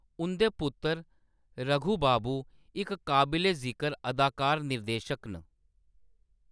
उंʼदे पुत्तर, रघु बाबू, इक काबले-जिकर अदाकार-निर्देशक न।